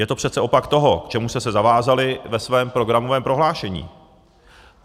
Je to přece opak toho, k čemu jste se zavázali ve svém programovém prohlášení.